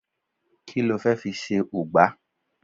ki lo fe fi se ugba